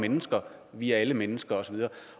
mennesker vi er alle mennesker